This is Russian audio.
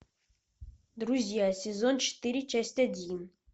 друзья сезон четыре часть один